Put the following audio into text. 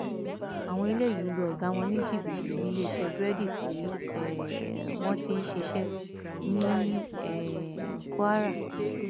àwọn eléyìí lu ọgá wọn ní jìbìtì níléeṣẹ búrẹdì tí um wọn ti ń ṣiṣẹ ní um kwara